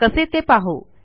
कसे ते पाहू